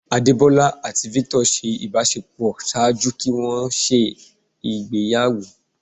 Adebola ati Victor ṣe ibàṣepọ ṣaaju kí wọn ṣe ìgbéyàwó.